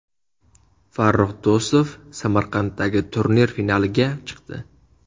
Farrux Do‘stov Samarqanddagi turnir finaliga chiqdi.